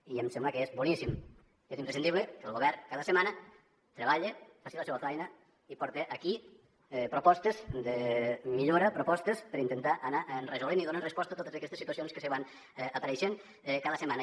i em sembla que és boníssim que és imprescindible que el govern cada setmana treballe faci la seva feina i porte aquí propostes de millora propostes per intentar anar resolent i donant resposta a totes aquestes situacions que van apareixent cada setmana